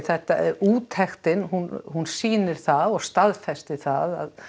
úttektin hún hún sýnir það og staðfestir það